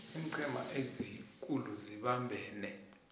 iinqhema ezikulu zibambene